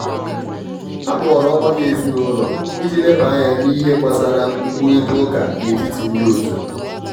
akpọrọ ọgbakọ ezinụlọ iji leba anya n'ihe gbasara nkwurita uká n'etiti ndi otu.